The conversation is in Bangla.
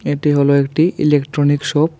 এটি হলো একটি ইলেকট্রনিক শপ ।